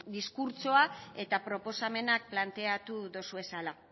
diskurtsoa eta proposamenak planteatu dozuezala